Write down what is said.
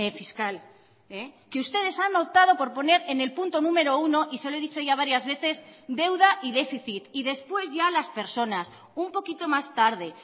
fiscal que ustedes han optado por poner en el punto número uno y se lo he dicho ya varias veces deuda y déficit y después ya las personas un poquito más tarde